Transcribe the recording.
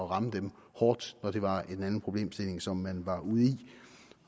ramme dem hårdt når det var en anden problemstilling som man var ude i